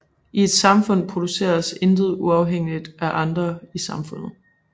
I et samfund produceres intet uafhængigt af andre i samfundet